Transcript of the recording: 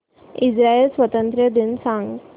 Israel स्वातंत्र्य दिन सांग